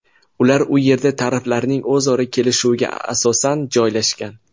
Ular u yerda taraflarning o‘zaro kelishuviga asosan joylashgan.